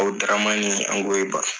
Abudaramani Ankoiba.